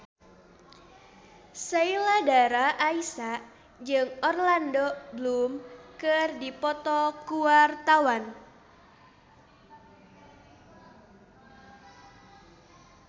Sheila Dara Aisha jeung Orlando Bloom keur dipoto ku wartawan